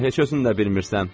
Hə, heç özün də bilmirsən.